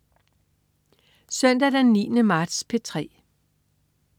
Søndag den 9. marts - P3: